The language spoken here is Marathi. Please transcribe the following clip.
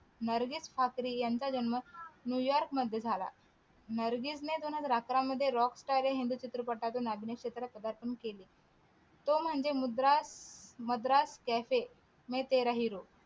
नर्गिस ठाकरे यांचा जन्म न्यूयार्क मध्ये झाला नर्गिसने दोन हजार अकरा मध्ये rock star या हिंदी चित्रपटातून अभिनय क्षेत्रात पदार्पण केले तो म्हणजे मुद्रा मद्रास कॅफे मै तेरा हिरो